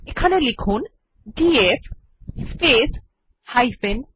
এবার লিখুন DF space h